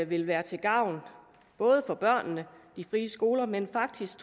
vil være til gavn både for børnene og de frie skoler men faktisk